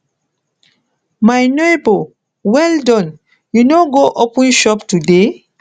my nebor well Accepted you no go open shop today